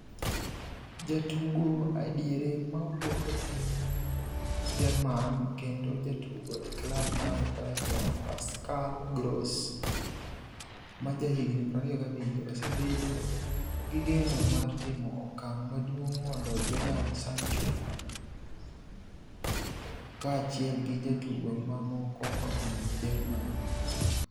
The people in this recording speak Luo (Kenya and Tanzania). (Liverpool Echo) Jatugo ediere mawuok e piny Jerman kendo jatugo e klab mar Brighton Pascal Gross, ma jahigni 27, osebedo gi geno mar timo okang' maduong' mondo Jadon Sancho kaachiel gi jotugo mamoko odhi Germany.